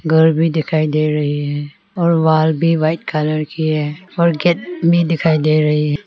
घर भी दिखाई दे रही है और वॉल भी वाइट कलर की है और गेट दिखाई दे रही है।